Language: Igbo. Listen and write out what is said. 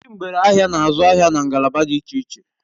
Ndi ngbere ahia n'azu ahia na ngalaba di iche iche